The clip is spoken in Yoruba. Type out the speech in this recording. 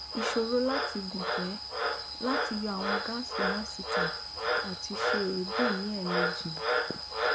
iṣoro lati gunfẹ lati yọ awọn gas na si ita ati ṣe eebi ni ẹ̀meji